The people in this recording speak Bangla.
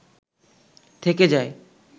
থেকে যায়